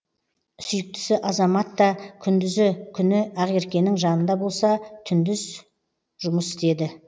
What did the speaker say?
сүйіктісі азаматта күндізі күні ақеркенің жанында болса түндіз жұмыс істеді